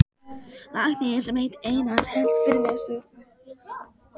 Læknir sem hét Einar hélt fyrirlestur.